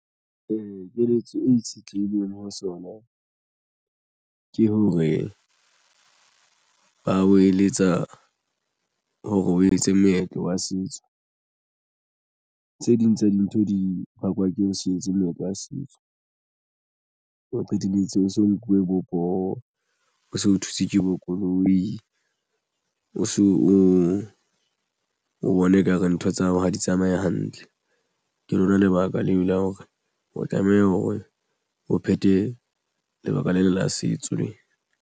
Ee, keletso e itshetlehileng ho sona ke hore ba o eletsa hore o etse meetlo wa setso tse ding tsa dintho di bakwa ke ho se etse moetlo wa setso o qetelletse o so nkuwe bo poho o so o thutswe ke bo koloi o so o bone ekare ntho tsa hao ha di tsamaye hantle. Ke lona lebaka leo la hore o tlameha hore o phethe lebaka lena la setso le.